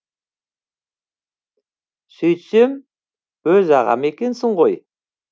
сөйтсем өз ағам екенсіз ғой